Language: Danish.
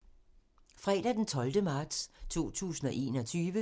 Fredag d. 12. marts 2021